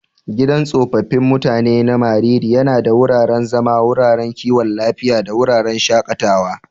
Gidan tsofaffin mutanen na Mariri yana da wuraren zama, wuraren kiwon lafiya, da wuraren shakatawa.